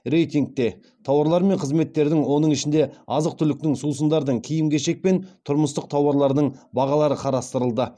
рейтингте тауарлар мен қызметтердің оның ішінде азық түліктің сусындардың киім кешек пен тұрмыстық тауарлардың бағалары қарастырылды